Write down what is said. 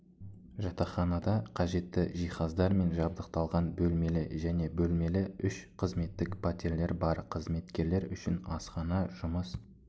жатақханада қажетті жиһаздармен жабдықталған бөлмелі және бөлмелі үш қызметтік пәтерлер бар қызметкерлер үшін асхана жұмыс